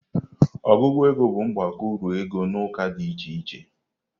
Ọgụgụ ego bụ mgbakọ uru ego n'ụka dị iche iche.